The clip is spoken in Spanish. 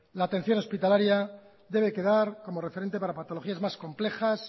la atención hospitalaria debe quedar como referente para patologías más complejas